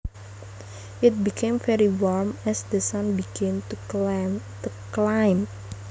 It became very warm as the sun began to climb